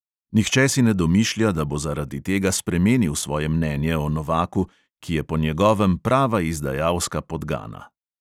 Nihče si ne domišlja, da bo zaradi tega spremenil svoje mnenje o novaku, ki je po njegovem prava izdajalska podgana.